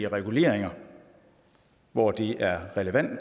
reguleringer hvor det er relevant